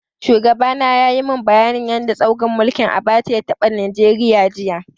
Shugaba na yayi mun bayanin yanda tsaurin mulkin Abacha ya taɓa Nigeria, jiya.